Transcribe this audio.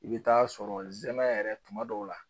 I bɛ taa sɔrɔ zɛmɛ yɛrɛ tuma dɔw la